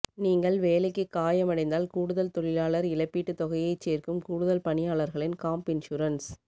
நீங்கள் வேலைக்கு காயமடைந்தால் கூடுதல் தொழிலாளர் இழப்பீட்டுத் தொகையைச் சேர்க்கும் கூடுதல் பணியாளர்களின் காம்ப் இன்சூரன்ஸ்